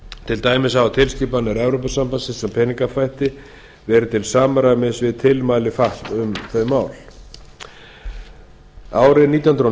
til dæmis hafa tilskipanir evrópusambandsins um peningaþvætti verið til samræmis við tilmæli fatf árið nítján